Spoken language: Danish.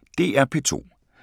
DR P2